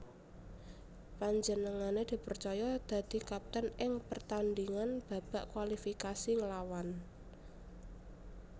Panjenengané dipercaya dadi kapten ing pertandhingan babak kualifikasi nglawan